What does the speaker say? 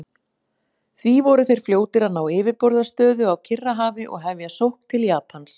Því voru þeir fljótir að ná yfirburðastöðu á Kyrrahafi og hefja sókn til Japans.